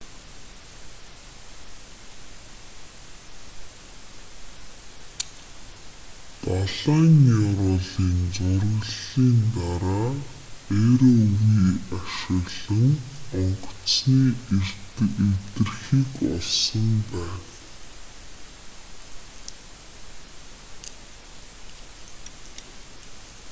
далайн ёроолын зураглалын дараа rov ашиглан онгоцны эвдэрхийг олсон байна